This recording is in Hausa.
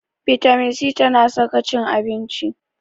Bitamin c ta na saka cin abinci.